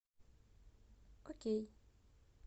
окей